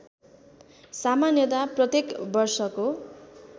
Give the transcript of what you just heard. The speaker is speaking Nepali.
सामान्यतया प्रत्येक वर्षको